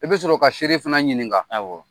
I bɛ sɔrɔ ka seere fana ɲininka awɔ